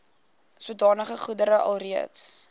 sodanige goedere alreeds